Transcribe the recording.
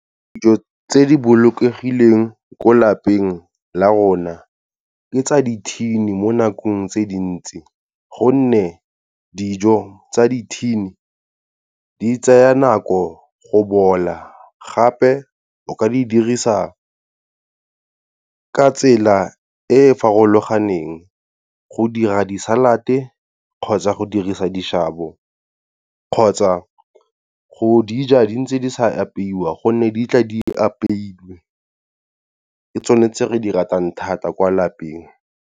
Dijo tse di bolokegileng ko lapeng la rona, ke tsa dithini mo nakong tse dintsi gonne dijo tsa dithini di tsaya nako go bola, gape o ka di dirisa ka tsela e e farologaneng go dira di-salad-e kgotsa go dirisa dishabo, kgotsa go dija di ntse di sa apeiwa, gonne di tla di apeilwe. Ke tsone tse re di ratang thata kwa lapeng.